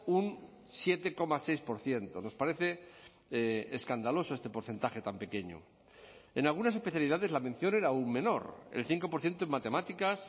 un siete coma seis por ciento nos parece escandaloso este porcentaje tan pequeño en algunas especialidades la mención era aún menor el cinco por ciento en matemáticas